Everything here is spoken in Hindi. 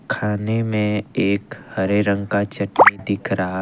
खाने में एक हरे रंग का चटनी दिख रहा--